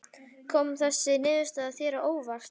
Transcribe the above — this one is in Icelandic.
Kom þessi niðurstaða þér á óvart?